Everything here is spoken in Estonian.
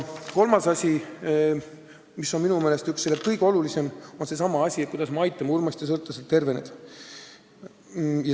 Kolmas asi, mis on minu meelest üks kõige olulisemaid, on see, kuidas me aitame uimastisõltlasel terveneda.